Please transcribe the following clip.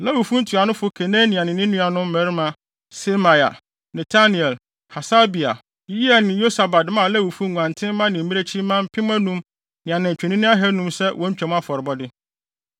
Lewifo ntuanofo Kenania ne ne nuanom mmarima Semaia, Netanel, Hasabia, Yeiel ne Yosabad maa Lewifo nguantenmma ne mmirekyimma mpem anum ne anantwinini ahannum sɛ wɔn Twam afɔrebɔde.